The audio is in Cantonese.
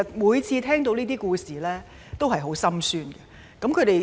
每次聽到這些故事，我都感到十分心酸。